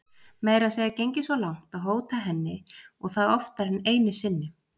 Meira að segja gengið svo langt að hóta henni og það oftar en einu sinni.